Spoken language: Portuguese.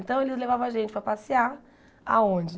Então eles levava a gente para passear aonde?